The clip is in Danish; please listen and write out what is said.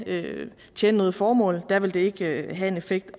ikke tjene noget formål der vil det ikke have en effekt